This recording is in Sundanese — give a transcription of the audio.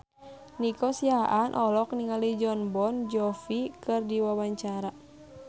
Nico Siahaan olohok ningali Jon Bon Jovi keur diwawancara